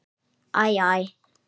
Æ. æ.